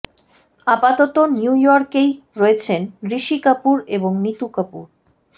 আপাতত নিউ ইয়র্কেই রয়েছেন ঋষি কাপুর এবং নিতু কাপুর